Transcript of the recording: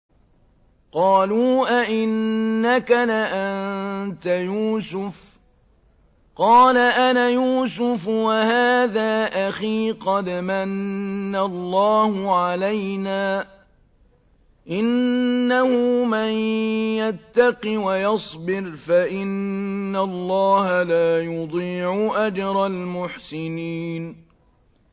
قَالُوا أَإِنَّكَ لَأَنتَ يُوسُفُ ۖ قَالَ أَنَا يُوسُفُ وَهَٰذَا أَخِي ۖ قَدْ مَنَّ اللَّهُ عَلَيْنَا ۖ إِنَّهُ مَن يَتَّقِ وَيَصْبِرْ فَإِنَّ اللَّهَ لَا يُضِيعُ أَجْرَ الْمُحْسِنِينَ